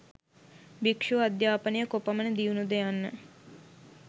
භික්ෂු අධ්‍යාපනය කොපමණ දියුණුද යන්න